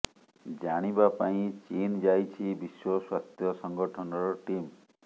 ଜାଣିବା ପାଇଁ ଚୀନ୍ ଯାଇଛି ବିଶ୍ୱ ସ୍ୱାସ୍ଥ୍ୟ ସଂଗଠନର ଟିମ୍